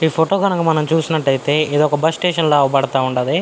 ఈ ఫోటో కనుక మనం చూసినట్లయితే ఏదో ఒక బస్ స్టేషన్ లాగా అవపడతా ఉండాది.